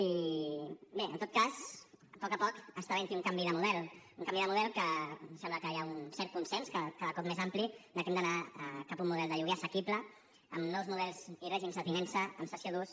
i bé en tot cas poc a poc està havent hi un canvi de model un canvi de model que sembla que hi ha un cert consens cada cop més ampli de que hem d’anar cap a un model de lloguer assequible amb nous models i règims de tinença amb cessió d’ús